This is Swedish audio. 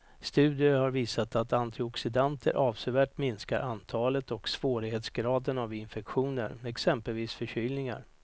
Studier har visat att antioxidanter avsevärt minskar antalet och svårighetsgraden av infektioner, exempelvis förkylningar.